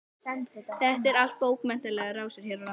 Þetta eru allt bókmenntalegir risar hér í landi.